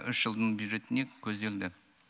үш жылдың бюджетіне көзделді